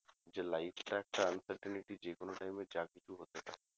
যে life টা একটা uncertainty যে কোনো time এ যা কিছু হতে পারে